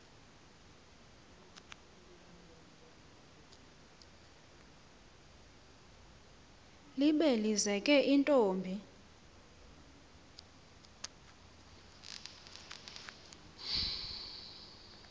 libe lizeke intombi